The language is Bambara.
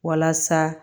Walasa